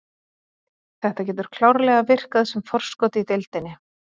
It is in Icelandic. Þetta getur klárlega virkað sem forskot í deildinni.